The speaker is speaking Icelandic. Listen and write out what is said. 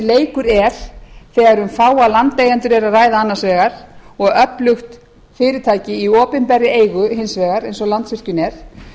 leikur er þegar um fáa landeigendur er að ræða annars vegar og öflugt fyrirtæki í opinberri eigu hins vegar eins og landsvirkjun er